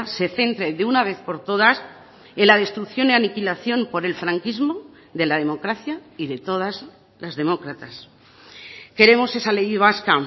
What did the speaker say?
se centre de una vez por todas en la destrucción y aniquilación por el franquismo de la democracia y de todas las demócratas queremos esa ley vasca